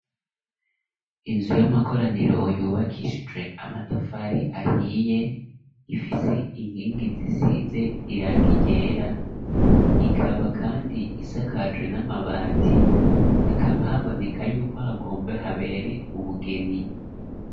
Inzu y'amakoraniro, yubakishijwe amatafari, ahiye, ifise inkingi, zisize irangi ryera, ikaba kandi, isakaje n'amabati; hakaba haboneka y'uko, hagombe habere, ubugeni.